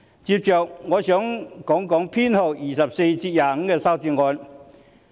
接着，我想談修正案編號24及25。